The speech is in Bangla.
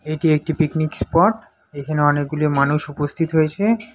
এটি একটি পিকনিক স্পট এখানে অনেকগুলি মানুষ উপস্থিত হয়েছে।